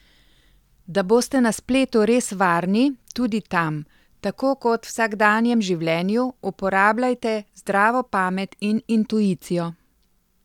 Da boste na spletu res varni, tudi tam, tako kot vsakdanjem življenju, uporabljajte zdravo pamet in intuicijo.